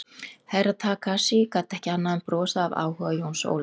Herra Takashi gat ekki annað en brosað af áhuga Jóns Ólafs.